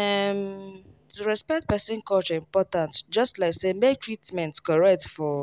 ehm to respect person culture important just like say make treatment correct for